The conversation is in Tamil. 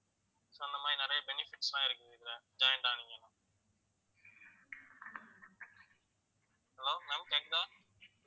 so அந்த மாதிரி நிறைய benefits லாம் இருக்குது இதுல joint ஆனீங்கன்னா hello ma'am கேட்குதா